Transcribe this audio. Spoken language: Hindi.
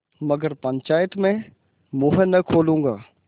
मगर पंचायत में मुँह न खोलूँगा